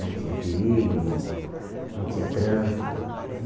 Não tinha perigo, não não tinha trânsito.